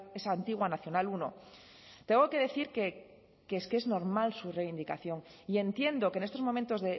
esa antigua nacional uno tengo que decir que es normal su reivindicación y entiendo que en estos momentos